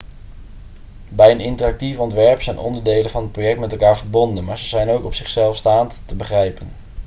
bij een interactief ontwerp zijn onderdelen van het project met elkaar verbonden maar ze zijn ook op zichzelf staand te begrijpen